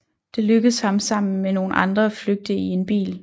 Det lykkedes ham sammen med nogle andre at flygte i en bil